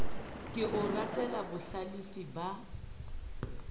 ke o ratela bohlalefi ba